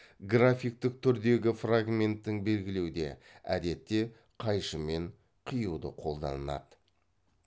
графиктік түрдегі фрагменттің белгілеуде әдетте қайшымен қиюды қолданады